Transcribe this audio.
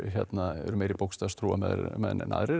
eru meiri bókstafstrúarmenn en aðrir